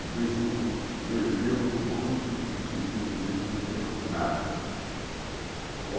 O bicho viveu muito e não viveu nada.